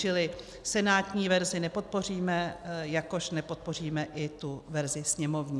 Čili senátní verzi nepodpoříme, jakož nepodpoříme i tu verzi sněmovní.